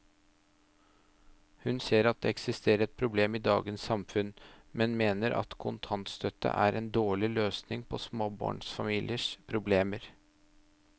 Hun ser at det eksisterer et problem i dagens samfunn, men mener at kontantstøtte er en dårlig løsning på småbarnsfamiliers problemer.